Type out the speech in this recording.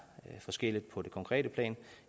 forskelligt på det konkrete plan